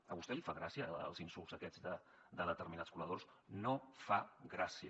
a vostè li fan gràcia els insults aquests de determinats col·laboradors no fa gràcia